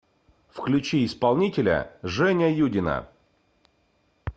включи исполнителя женя юдина